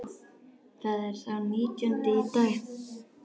Það er sá nítjándi í dag.